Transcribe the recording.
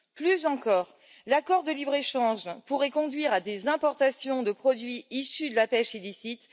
Plus encore, l'accord de libre échange pourrait conduire à des importations de produits issus de la pêche illicite.